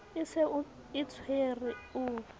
e se e tshwere o